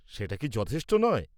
সেটা কি যথেষ্ট নয়?